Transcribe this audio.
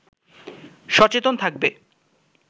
সচেতন থাকবে